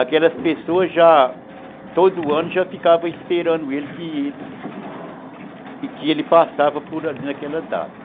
Aquelas pessoas todo ano já ficavam esperando ele, que que ele passava por ali naquela data.